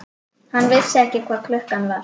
Hann vissi ekki hvað klukkan var.